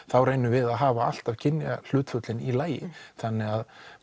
þá reynum við að hafa alltaf kynjahlutföllin í lagi þannig að